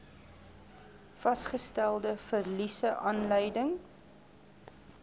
vasgestelde verliese aanleiding